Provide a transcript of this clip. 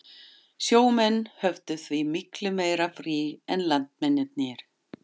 Sjó menn höfðu því miklu meira frí en landmennirnir.